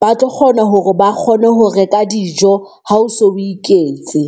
ba tlo kgona hore ba kgone ho reka dijo, ha o so o iketse.